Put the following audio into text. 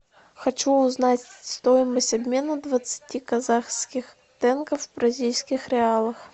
хочу узнать стоимость обмена двадцати казахских тенге в бразильских реалах